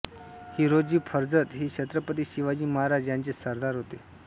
हिरोजी फर्जंद हे छत्रपती शिवाजी महाराज यांचे सरदार होते